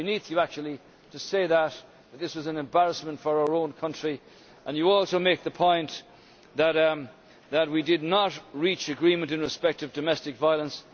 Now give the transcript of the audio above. It is beneath Ms Anderson actually to say that this was an embarrassment for our own country and she also makes the point that we did not reach agreement in respect of domestic violence.